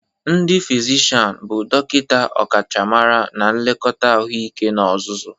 Ndi fizishian bụ dọkịta ọkachamara na nlekọta ahụike n'ozuzu.